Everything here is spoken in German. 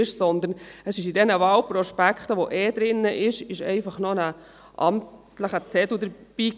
Den ohnehin beiliegenden Wahlprospekten lag einfach ein amtlicher Zettel bei.